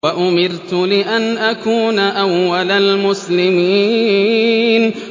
وَأُمِرْتُ لِأَنْ أَكُونَ أَوَّلَ الْمُسْلِمِينَ